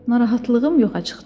Narahatlığım yoxa çıxdı.